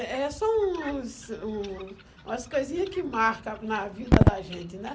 É é só uns um umas coisinha que marca na vida da gente, né?